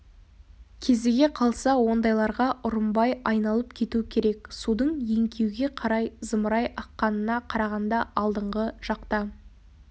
кезіге қалса ондайларға ұрынбай айналып кету керек судың еңкеуге қарай зымырай аққанына қарағанда алдыңғы жақта